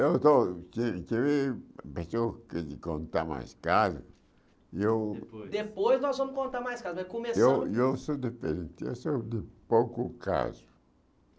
Eu estou... Tive tive de contar mais caso, e eu... Depois depois nós vamos contar mais caso, mas começamos... E eu sou diferente, eu sou de pouco caso